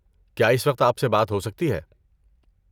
کیا اس وقت آپ سے بات ہو سکتی ہے؟